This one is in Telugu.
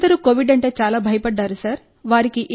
రోగులందరూ కోవిడ్ అంటే చాలా భయపడ్డారు సార్